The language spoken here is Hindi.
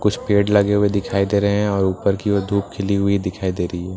कुछ पेड़ लगे हुए दिखाई दे रहे हैं और ऊपर की ओर धूप खिली हुई दिखाई दे रही है।